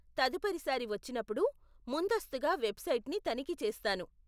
తదుపరి సారి వచ్చినప్పుడు, ముందస్తుగా వెబ్సైట్ని తనిఖీ చేస్తాను.